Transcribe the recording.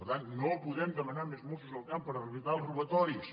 per tant no podem demanar més mossos al camp per evitar els ro·batoris